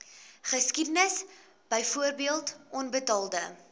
geskiedenis byvoorbeeld onbetaalde